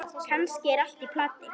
Kannski er allt í plati.